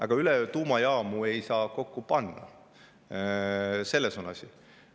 Aga üleöö tuumajaamu ei saa kokku panna – selles on asi.